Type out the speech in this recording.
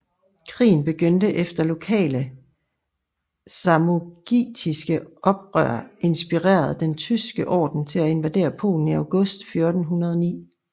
Krigen begyndte efter lokale samogitiske oprør inspirerede Den Tyske Orden til at invadere Polen i august 1409